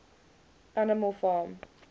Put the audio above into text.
animal farm